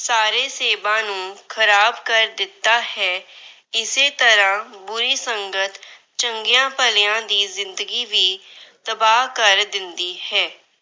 ਸਾਰੇ ਸੇਬਾਂ ਨੂੰ ਖਰਾਬ ਕਰ ਦਿੱਤਾ ਹੈ। ਇਸੇ ਤਰ੍ਹਾਂ ਬੁਰੀ ਸੰਗਤ ਚੰਗਿਆਂ ਭਲਿਆਂ ਦੀ ਜਿੰਦਗੀ ਵੀ ਤਬਾਹ ਕਰ ਦਿੰਦੀ ਹੈ।